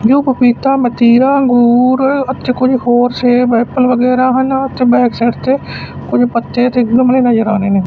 ਯੋ ਪਪੀਤਾ ਮਤੀਰਾ ਅੰਗੂਰ ਅਤੇ ਕੁਝ ਹੋਰ ਸੇਬ ਐੱਪਲ ਵਗੈਰਾ ਹਨ ਅਤੇ ਬੈਕਸਾਈਡ ਤੇ ਕੁਝ ਪੱਤੇ ਅਤੇ ਗਮਲੇ ਨਜ਼ਰ ਆ ਰਹੇ ਨੇਂ।